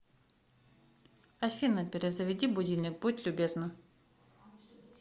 афина перезаведи будильник будь любезна